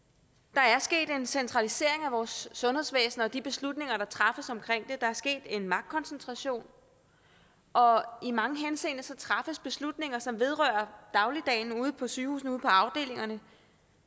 der er sket en centralisering af vores sundhedsvæsen og de beslutninger der træffes omkring det der er sket en magtkoncentration og i mange henseender træffes beslutninger som vedrører dagligdagen ude på sygehusene ude på afdelingerne